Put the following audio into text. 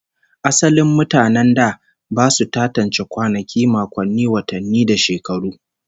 Asalin mutanen da ba su tantance kwanaki, makonni, watanni da shekaru